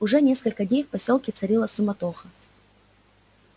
уже несколько дней в посёлке царила суматоха